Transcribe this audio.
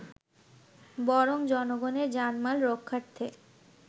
বরং জনগণের জানমাল রক্ষার্থে